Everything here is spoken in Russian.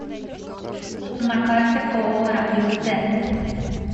на карте ооо радиус д